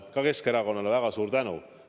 Ka Keskerakonnale väga suur tänu!